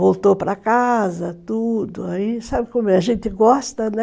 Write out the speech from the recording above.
Voltou para casa, tudo, aí sabe como é, a gente gosta, né?